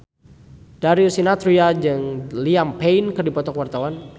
Darius Sinathrya jeung Liam Payne keur dipoto ku wartawan